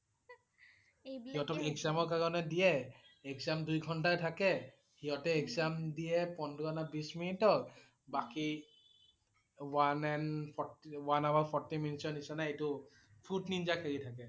সিহঁতক exam ৰ কাৰণে দিয়ে, exam দুই ঘণ্টাৰ থাকে, সিহঁতে exam দিয়ে পোন্ধৰ নে বিষ মিনিটৰ, বাকি one and~d forty~one hour forty minutes নিছিনা এইটো fruit ninja খেলি থাকে।